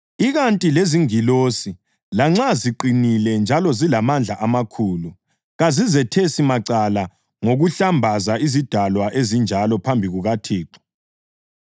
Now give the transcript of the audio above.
ikanti lezingilosi, lanxa ziqinile njalo zilamandla amakhulu, kazizethesi macala ngokuhlambaza izidalwa ezinjalo phambi kukaThixo.